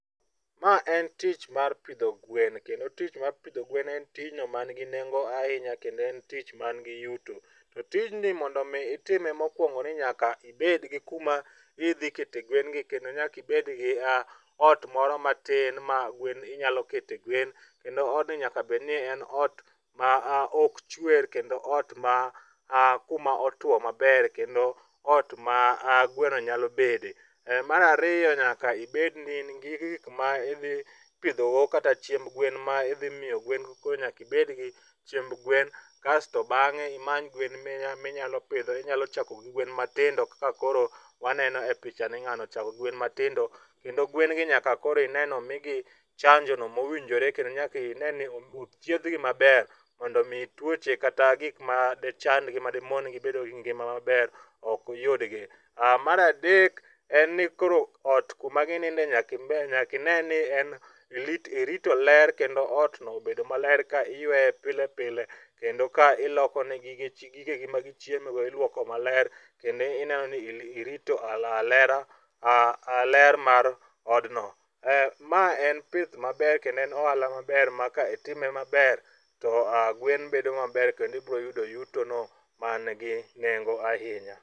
Ma en tich mar pidho gwen kendo tich mar pidho gwen en tich man gi nengo ahinya ne en tich man gi yuto to tijni mondo mi itime mokuongo ni nyaka ibed gi kuma idhi kete gwengi kendo nyaka ibed gi ot moro matin ma gwen inyalo kete gwen kendo odni nyaka bed ni en ot ma ok chwer kendo ot man kuma otuo maber kendo ot ma gweno nyalo bede. Mar ariyo nyaka ibed ni in gi gik ma ipidho go kata chiemb gwen kasto bang'e imany gwen ma nyalo pidho inyalo chako gi gwen matindo. Kaka koro waneno e picha ni ng'ano chako gi gwen matindo to gwen gi nyaka koro ine ni omigi chanjono mowinjore kendo nyaka ineni ochiedhgi maber mondo mi tuoche kata gik madichandgi madimon gi bedo gi ngima maber ok yudgi. Mar adek en ni koro ot kuma gininde nyaka ine ni irito ler kendo otno obedo maler ka iyueye pile pile kendo ka iloko negi gigegi magichieme go iluoko maler kendo ineno ni irito a ler mar odno. Ma en pith maber kendo en ohala maber maka itime maber to gwen bedo maber kendo ibiro yudo yutono man gi nengo ahinya.